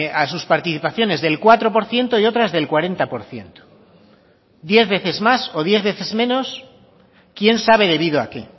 a sus participaciones del cuatro por ciento y otras del cuarenta por ciento diez veces más o diez veces menos quién sabe debido a qué